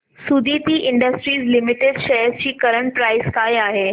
Suditi Industries Limited shares ची current price काय आहे